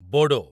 Bodo